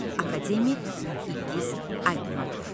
Akademik İlgiz Aytmatov.